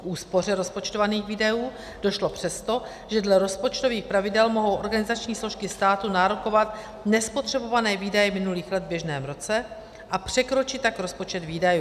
K úspoře rozpočtovaných výdajů došlo přesto, že dle rozpočtových pravidel mohou organizační složky státu nárokovat nespotřebované výdaje minulých let v běžném roce, a překročit tak rozpočet výdajů.